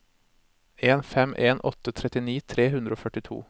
en fem en åtte trettini tre hundre og førtito